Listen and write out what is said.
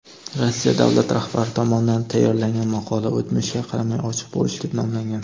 Rossiya davlati rahbari tomonidan tayyorlangan maqola "O‘tmishga qaramay ochiq bo‘lish" deb nomlangan.